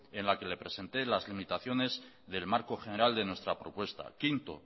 en la que le presenté las limitaciones del marco general de nuestra propuesta quinto